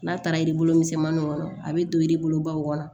N'a taara misɛnmaninw kɔnɔ a bɛ don baw kɔnɔ